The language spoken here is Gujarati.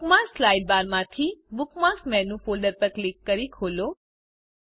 બુકમાર્ક્સ સાઇડબારમાંથીBookmarks મેનું ફોલ્ડર પર ક્લિક કરી ખોલો